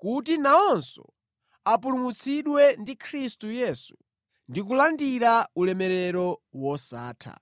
kuti nawonso apulumutsidwe ndi Khristu Yesu ndi kulandira ulemerero wosatha.